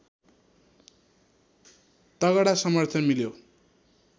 तगडा समर्थन मिल्यो